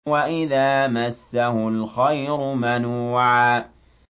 وَإِذَا مَسَّهُ الْخَيْرُ مَنُوعًا